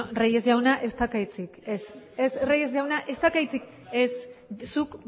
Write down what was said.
reyes jauna ez daukazu hitzik ez reyes jauna ez daukazu hitzik ez zuk